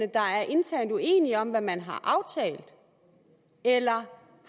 internt uenige om hvad man har aftalt eller